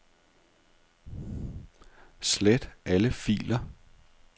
Slet alle filer.